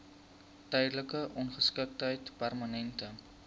tydelike ongeskiktheid permanente